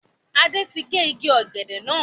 Adé tí gé igi ọ̀gẹ̀dẹ̀ náà.